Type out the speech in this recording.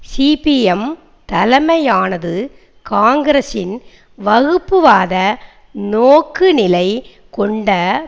CPM தலைமையானது காங்கிரசின் வகுப்பவாத நோக்குநிலை கொண்ட